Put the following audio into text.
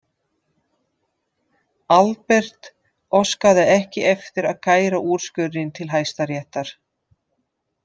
Albert óskaði ekki eftir að kæra úrskurðinn til Hæstaréttar.